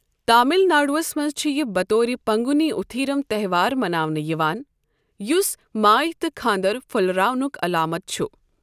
تامِل ناڈوہس منٛز چُھ یہِ بطور پنٛگوٗنی اُتھیٖرَم تہوار مَناونہٕ یِوان یُس ماے تہٕ خانٛدر پھۄلراونُک علامت چُھ ۔